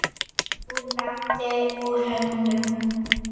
Úr landi, úr höndum.